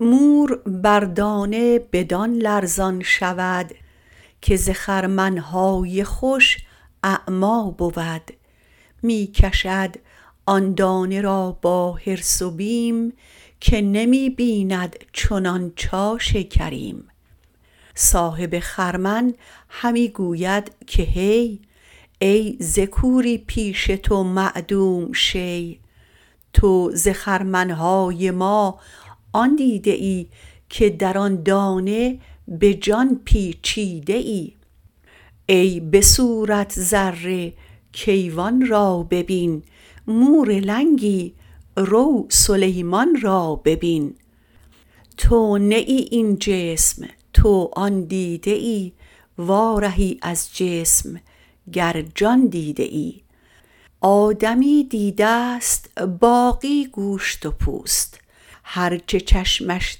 مور بر دانه بدان لرزان شود که ز خرمن های خوش اعمی بود می کشد آن دانه را با حرص و بیم که نمی بیند چنان چاش کریم صاحب خرمن همی گوید که هی ای ز کوری پیش تو معدوم شی تو ز خرمن های ما آن دیده ای که در آن دانه به جان پیچیده ای ای به صورت ذره کیوان را ببین مور لنگی رو سلیمان را ببین تو نه ای این جسم تو آن دیده ای وارهی از جسم گر جان دیده ای آدمی دیده ست باقی گوشت و پوست هرچه چشمش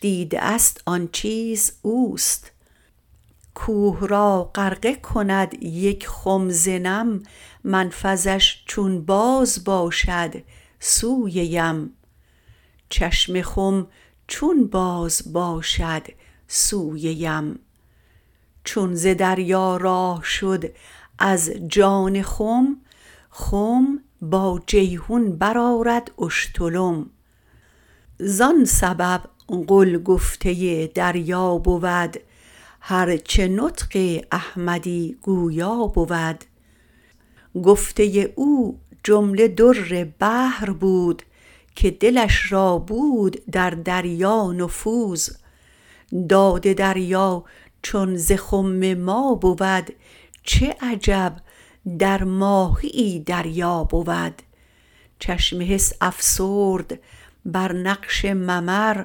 دیده است آن چیز اوست کوه را غرقه کند یک خم ز نم منفذش چون باز باشد سوی یم چون به دریا راه شد از جان خم خم با جیحون برآرد اشتلم زان سبب قل گفته دریا بود هرچه نطق احمدی گویا بود گفته او جمله در بحر بود که دلش را بود در دریا نفوذ داد دریا چون ز خم ما بود چه عجب در ماهیی دریا بود چشم حس افسرد بر نقش ممر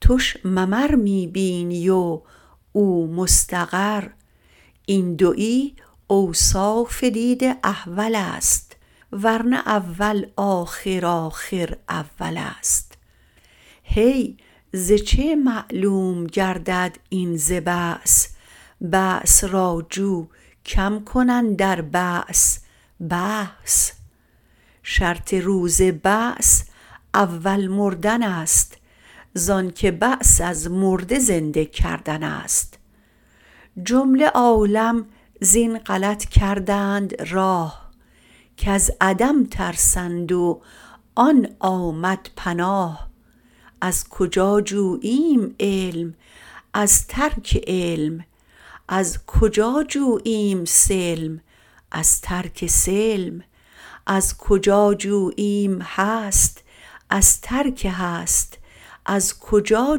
تش ممر می بینی و او مستقر این دوی اوصاف دید احولست ورنه اول آخر آخر اولست هی ز چه معلوم گردد این ز بعث بعث را جو کم کن اندر بعث بحث شرط روز بعث اول مردنست زانک بعث از مرده زنده کردنست جمله عالم زین غلط کردند راه کز عدم ترسند و آن آمد پناه از کجا جوییم علم از ترک علم از کجا جوییم سلم از ترک سلم از کجا جوییم هست از ترک هست از کجا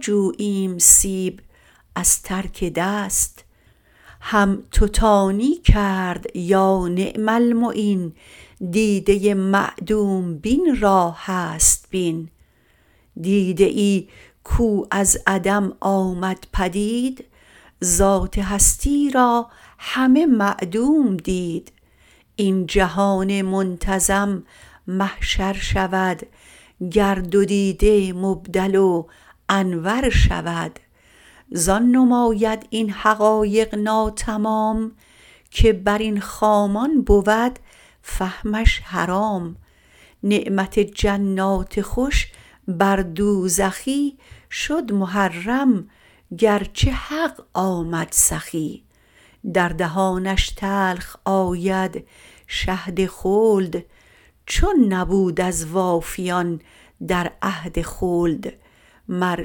جوییم سیب از ترک دست هم تو تانی کرد یا نعم المعین دیده معدوم بین را هست بین دیده ای کو از عدم آمد پدید ذات هستی را همه معدوم دید این جهان منتظم محشر شود گر دو دیده مبدل و انور شود زان نماید این حقایق ناتمام که برین خامان بود فهمش حرام نعمت جنات خوش بر دوزخی شد محرم گرچه حق آمد سخی در دهانش تلخ آید شهد خلد چون نبود از وافیان عهد خلد مر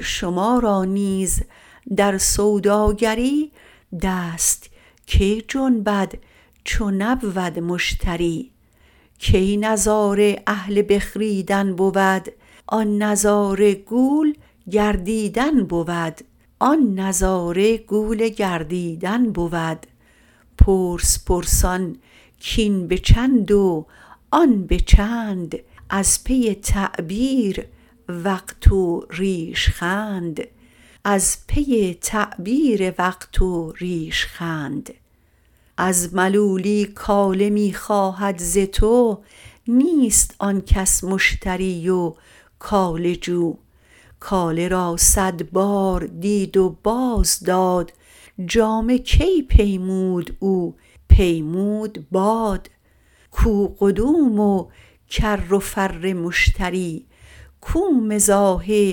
شما را نیز در سوداگری دست کی جنبد چو نبود مشتری کی نظاره اهل بخریدن بود آن نظاره گول گردیدن بود پرس پرسان کاین به چند و آن به چند از پی تعبیر وقت و ریش خند از ملولی کاله می خواهد ز تو نیست آن کس مشتری و کاله جو کاله را صد بار دید و باز داد جامه کی پیمود او پیمود باد کو قدوم و کر و فر مشتری کو مزاح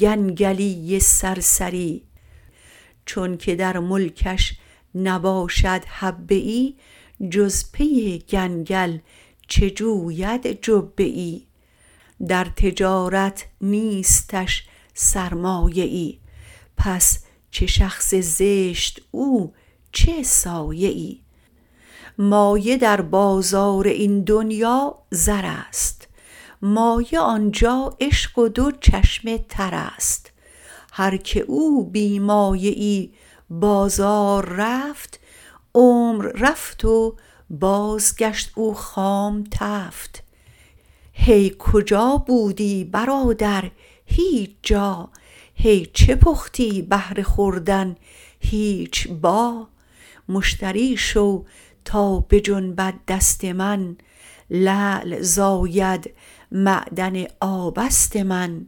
گنگلی سرسری چونک در ملکش نباشد حبه ای جز پی گنگل چه جوید جبه ای در تجارت نیستش سرمایه ای پس چه شخص زشت او چه سایه ای مایه در بازار این دنیا زرست مایه آنجا عشق و دو چشم ترست هر که او بی مایه ای بازار رفت عمر رفت و بازگشت او خام تفت هی کجا بودی برادر هیچ جا هی چه پختی بهر خوردن هیچ با مشتری شو تا بجنبد دست من لعل زاید معدن آبست من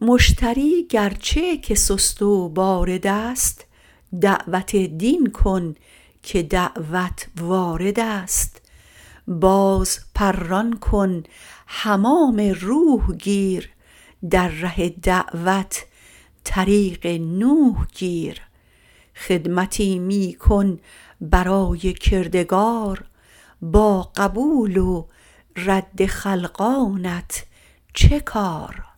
مشتری گرچه که سست و باردست دعوت دین کن که دعوت واردست باز پران کن حمام روح گیر در ره دعوت طریق نوح گیر خدمتی می کن برای کردگار با قبول و رد خلقانت چه کار